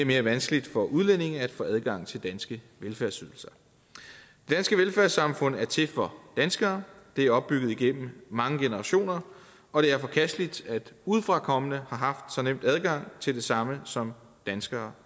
mere vanskeligt for udlændinge at få adgang til danske velfærdsydelser det danske velfærdssamfund er til for danskere det er opbygget igennem mange generationer og det er forkasteligt at udefrakommende har haft så nem adgang til det samme som danskere